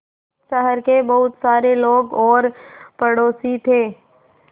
शहर के बहुत सारे लोग और पड़ोसी थे